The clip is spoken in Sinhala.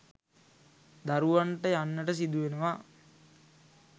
දරුවන්ට යන්නට සිදු වෙනවා.